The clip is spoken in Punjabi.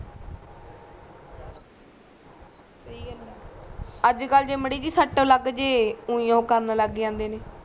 ਸਹੀ ਗੱਲ ਆ ਅਜਕਲ ਜੇ ਮੜੀ ਸੀ ਸਟ ਲੱਗਜੇ ਉਹੀ ਕਰਨ ਲਗ ਜਾਂਦੇ ਨੇ